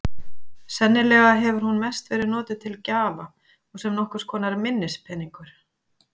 Sennilega hefur hún mest verið notuð til gjafa og sem nokkurs konar minnispeningur.